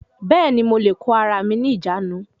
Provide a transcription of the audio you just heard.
Bẹ́ẹ̀ni, mo lè kó ara mi ní ìjánu